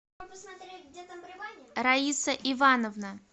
раиса ивановна